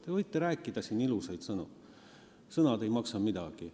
Te võite rääkida siin ilusaid sõnu, sõnad ei maksa midagi.